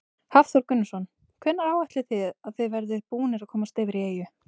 Hafþór Gunnarsson: Hvenær áætlið þið að þið verðið búnir að komast yfir í eyju?